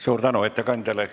Suur tänu ettekandjale!